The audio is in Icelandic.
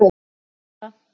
Ég játa það.